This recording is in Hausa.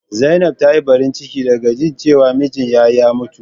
Zainab ta yi Barin cike da ga jin cewa mijin ya ya mutu.